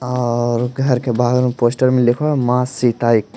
और घर के बाहर में पोस्टर में लिखा हुआ है मां सीता एक--